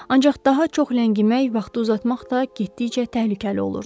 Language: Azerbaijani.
Ancaq daha çox ləngimək, vaxtı uzatmaq da getdikcə təhlükəli olurdu.